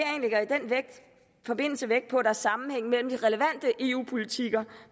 forbindelse vægt på at der er sammenhæng mellem de relevante eu politikker